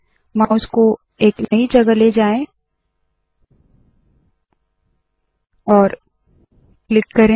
mouse को एक नई जगह ले जाए और क्लिक करे